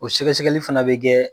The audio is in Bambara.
O sɛgɛ sɛgɛli fana bɛ kɛ